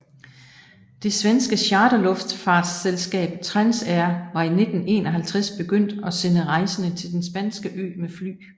Det svenske charterluftfartsselskab Transair var i 1951 begyndt at sende rejsende til den spanske ø med fly